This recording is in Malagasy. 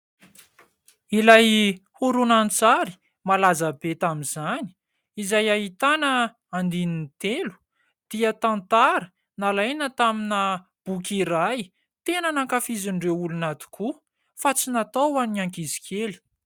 Ilay horonan-tsary malaza be tamin'izany izay ahitana andininy telo dia tantara nalaina tamina boky iray tena nankafizin'ireo olona tokoa fa tsy natao an'ny ankizy kely.